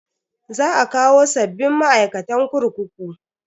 Za a kawo sabbin ma'aikatan kurkuku.